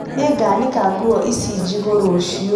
Nĩngaanĩka nguo ĩcĩ njĩgu rũciũ